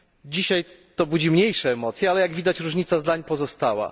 Dzisiaj to budzi mniejsze emocje, ale jak widać różnica zdań pozostała.